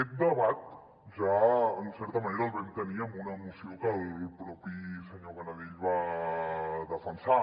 aquest debat ja en certa manera el vam tenir en una moció que el propi senyor canadell va defensar